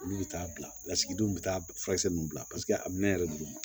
Olu bɛ taa bila lasigidenw bɛ taa furakisɛ ninnu bila paseke a minɛn yɛrɛ duguma